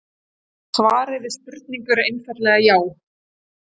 Svarið við spurningunni er einfaldlega já.